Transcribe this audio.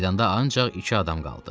Meydanda ancaq iki adam qaldı.